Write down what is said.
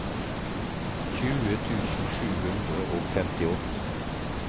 tjue tusen sju hundre og femtiåtte